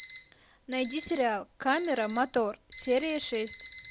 найди сериал камера мотор серия шесть